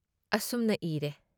ꯑꯁꯨꯝꯅ ꯏꯔꯦ ꯫